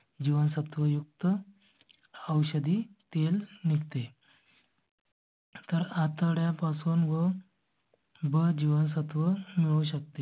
जीवनसत्व युक्त औषधी तेल निघते. तर आठवड्या पासून. ब जीवनसत्व मिळू शकते.